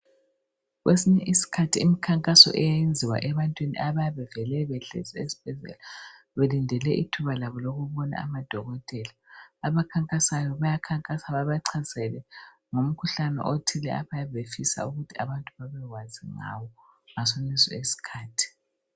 Kwesinye isikhathi imikhankaso iyayenziwa ebantwini abayabe bevele behlezi esibhedlela belindele ithuba labo lokubona amadokotela. Abakhankasayo bayakhankasa bebachasisele ngomkhuhlane othile abayabe befisa ukuthi abantu babekwazi ngawo ngasoneso isikhathi.